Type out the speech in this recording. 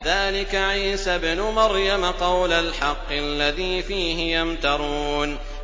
ذَٰلِكَ عِيسَى ابْنُ مَرْيَمَ ۚ قَوْلَ الْحَقِّ الَّذِي فِيهِ يَمْتَرُونَ